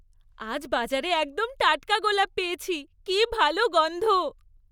আজ বাজারে একদম টাটকা গোলাপ পেয়েছি। কি ভালো গন্ধ।